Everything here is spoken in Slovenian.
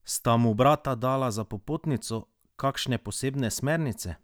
Sta mu brata dala za popotnico kakšne posebne smernice?